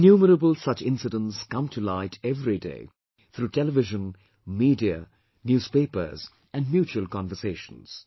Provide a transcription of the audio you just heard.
Innumerable such incidents come to light everyday through television, media, newspapers and mutual conversations